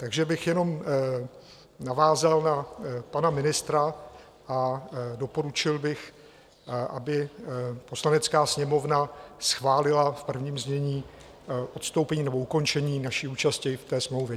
Takže bych jenom navázal na pana ministra a doporučil bych, aby Poslanecká sněmovna schválila v prvním znění odstoupení nebo ukončení naší účasti v té smlouvě.